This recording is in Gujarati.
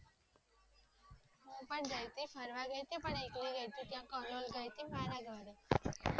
એ ફરવા ગાયિટી પણ એકલી ગાયિટી